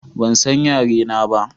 Ban san yare na ba